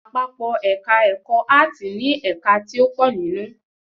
Àpapọ́ èka ẹ̀kọ́ áàtì ni ẹ̀ka ti o pọ̀ nínú